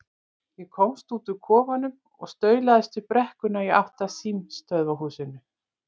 Ég komst út úr kofanum og staulaðist upp brekkuna í átt að símstöðvarhúsinu.